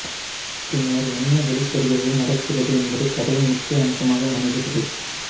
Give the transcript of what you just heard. பின்னர் என்ன வெளிப்படுகிறது நடக்கிறது என்பது கதையின் முக்கிய அம்சமாக அமைகிறது